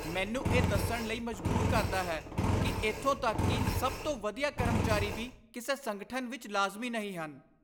ਮੈਨੂੰ ਇਹ ਦੱਸਣ ਲਈ ਮਜ਼ਬੂਰ ਕਰਦਾ ਹੈ ਕਿ ਇੱਥੋਂ ਤੱਕ ਕਿ ਸਭ ਤੋਂ ਵਧੀਆ ਕਰਮਚਾਰੀ ਵੀ ਕਿਸੇ ਸੰਗਠਨ ਵਿੱਚ ਲਾਜ਼ਮੀ ਨਹੀਂ ਹਨ।